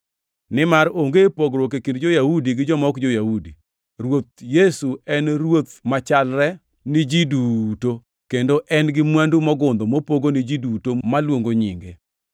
Nimar onge pogruok e kind jo-Yahudi gi joma ok jo-Yahudi; Ruoth Yesu en Ruoth machalre ni ji duto, kendo en gi mwandu mogundho mopogo ni ji duto maluongo nyinge,